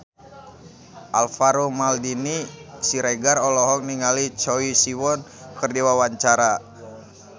Alvaro Maldini Siregar olohok ningali Choi Siwon keur diwawancara